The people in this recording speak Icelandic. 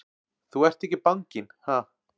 Þú ert ekki banginn, ha!